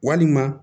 Walima